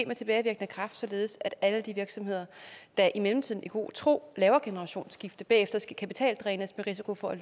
med tilbagevirkende kraft således at alle de virksomheder der i mellemtiden i god tro laver generationsskifte bagefter skal kapitaldrænes med risiko for